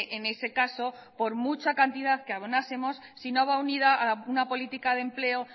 en ese caso por mucha cantidad que abonásemos si no va unida a una política de empleo